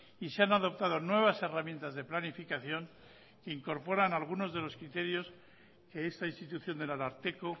y se han adoptado nuevas herramientas de planificación que incorporan algunos de los criterios que esta institución del ararteko